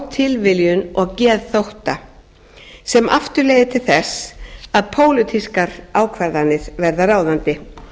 tilviljun og geðþótta sem aftur leiðir til þess að pólitískar ákvarðanir verða ráðandi